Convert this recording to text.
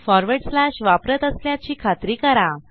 forward slash वापरत असल्याची खात्री करा